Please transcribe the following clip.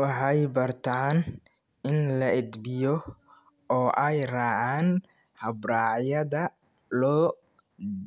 waxay bartaan in la edbiyo oo ay raacaan habraacyada loo